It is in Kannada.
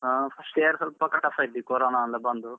ಹಾ first year ಸ್ವಲ್ಪ ಕ~ tough ಇತ್ತು ಆ ಕೊರೋನಾ ಎಲ್ಲ ಬಂದು.